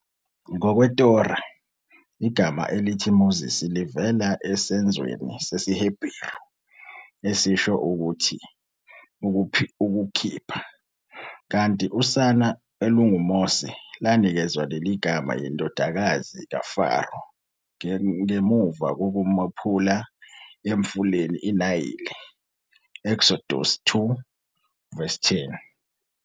Ngokwe-Torah, igama elithi "Moses" livela esenzweni sesiHeberu, esisho ukuthi "ukukhipha, ukukhipha", kanti usana olunguMose lanikezwa leli gama yindodakazi kaFaro ngemuva kokumophula emfuleni iNayile. Eksodusi 2 verse 10.